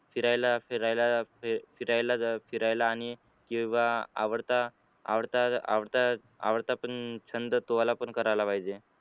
फिरायला फिरायला फिरायला फिरायला आणि किंवा आवडता आवडता आवडता आवडता पण छंद तुम्हाला करावा पाहिजे.